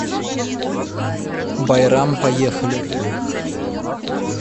байрам поехали